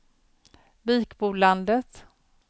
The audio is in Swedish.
Vikbolandet